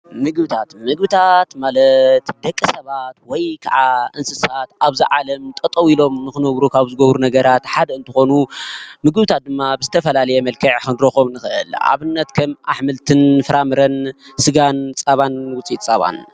ምግብታት ፦ምግብታት ማለት ደቂ ሰባት ወይ ከዓ እንስሳት ኣብዚ ዓለም ጠጠው ኢሎም ንክነብሩ ካብ ዝገብሩ ነገራት ሓደ እንትኮኑ ምግብታት ድማ ብዝተፈላለየ መልክዕ ክንረክቦም ንክእል፡፡ ኣብነት ከም ኣሕምልትን ኣትክልትን ፍራምረን ስጋን፣ ፀባን ውፅኢት ፀባን።